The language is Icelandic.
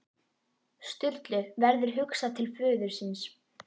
Sturlu verður hugsað til föður síns.